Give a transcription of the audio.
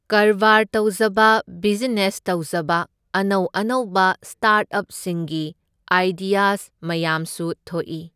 ꯀꯔꯕꯥꯔ ꯇꯧꯖꯕ ꯕꯤꯖꯤꯅꯦꯁ ꯇꯧꯖꯕ ꯑꯅꯧ ꯑꯅꯧꯕ ꯁ꯭ꯇꯥꯔꯠꯑꯞꯁꯤꯡꯒꯤ ꯑꯥꯏꯗꯤꯌꯁ ꯃꯌꯥꯝꯁꯨ ꯊꯣꯛꯏ꯫